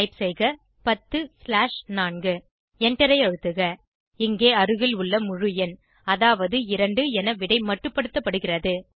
type செய்க 10 slash 4 எண்டரை அழுத்துக இங்கே அருகில் உள்ள முழு எண் அதாவது 2 என விடை மட்டுப்படுத்தப்படுகிறது